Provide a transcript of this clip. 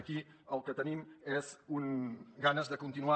aquí el que tenim són ganes de continuar